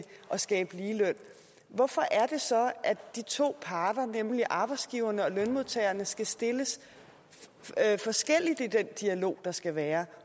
skabe ligeløn hvorfor er det så at de to parter nemlig arbejdsgiverne og lønmodtagerne skal stilles forskelligt i den dialog der skal være